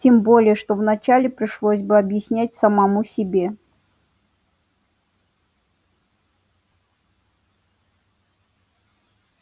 тем более что вначале пришлось бы объяснять самому себе